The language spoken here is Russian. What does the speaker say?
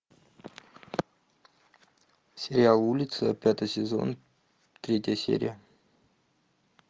сериал улица пятый сезон третья серия